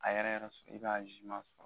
A yɛrɛ yɛrɛ sɔrɔ i b'a ma sɔrɔ.